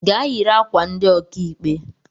Gaa yiri ákwà ndị okaikpe!